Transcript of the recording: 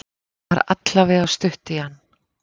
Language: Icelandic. Það er allavega stutt í hann.